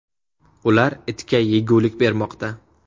Ular itga yegulik bermoqda.